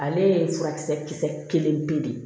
Ale ye furakisɛ kisɛ kelen pe de